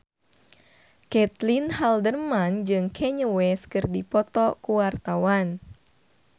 Caitlin Halderman jeung Kanye West keur dipoto ku wartawan